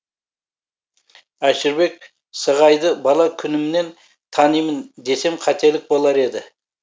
әшірбек сығайды бала күнімнен танимын десем қателік болар еді